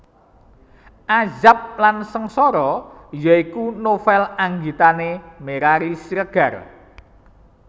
Azab dan Sengsara ya iku novel anggitane Merari Siregar